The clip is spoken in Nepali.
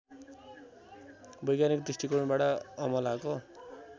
वैज्ञानिक दृष्टिकोणबाट अमलाको